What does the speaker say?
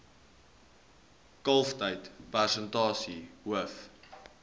kalftyd persentasie hoof